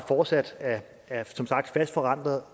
fortsat er fast forankret